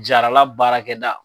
Jarala baarakɛda.